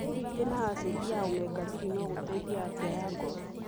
Kũrĩa irio irĩ na acĩndi ya omega-3 no gũteithie afia ya ngoro.